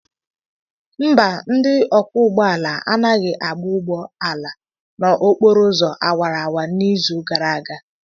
Mba, ndị ọkwọ ụgbọ ala anaghị agba ụgbọ ala n'okporo ụzọ awara awara n'izu gara aga.